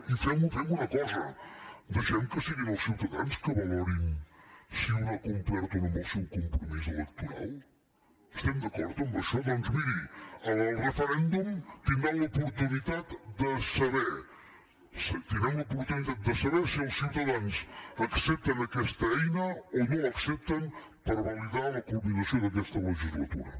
i fem una cosa deixem que siguin els ciutadans que valorin si un ha complert o no amb el seu compromís electoral estem d’acord amb això doncs miri al referèndum tindran l’oportunitat de saber tindrem l’oportunitat de saber si els ciutadans accepten aquesta eina o no l’accepten per validar la culminació d’aquesta legislatura